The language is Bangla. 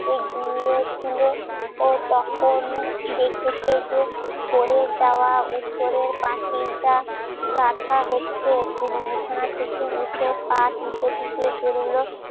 ঘুমিয়ে ছিল ও দেখতে দে পড়ে যাওয়া উপরের পাচিল গাঁথা হচ্ছে থেকে উঠে পা টিপে টিপে বেরোলো